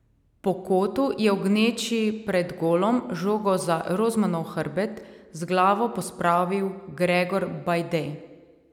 Po kotu je v gneči pred golom žogo za Rozmanov hrbet z glavo pospravil Gregor Bajde.